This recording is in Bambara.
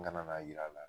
N kana n'a jira a la